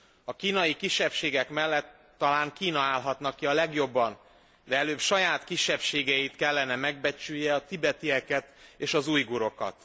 A kínai kisebbségek mellett talán Kína állhatna ki a legjobban, de előbb saját kisebbségeit kellene megbecsülje a tibetieket és az ujgurokat.